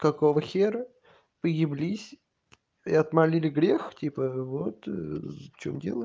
какого хера вы еблись и отмолили грех типа вот в чём дело